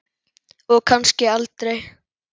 Og kannski aldrei.